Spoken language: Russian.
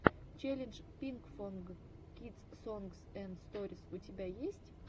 челлендж пинкфонг кидс сонгс энд сторис у тебя есть